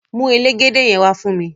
Mu elégédé yen wà fún mi!